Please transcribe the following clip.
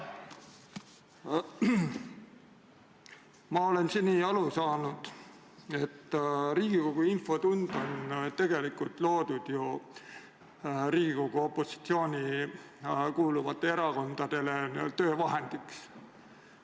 Ma olen seni aru saanud, et Riigikogu infotund on mõeldud eelkõige Riigikogu opositsiooni kuuluvate erakondade töövahendiks.